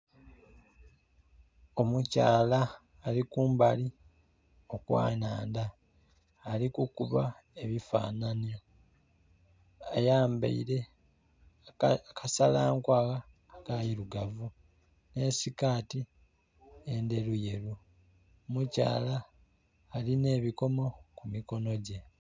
Omukyala ali kumbali okwanandha ali kukuba ebifananhi, ayambeire akasala nkwagha akeirugavu ne sikati endheru yeru, omukyala alina ebikomo ku mikono gye.